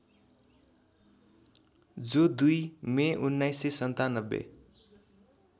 जो २ मे १९९७